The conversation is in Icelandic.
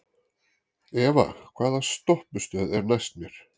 Eva, hvaða stoppistöð er næst mér?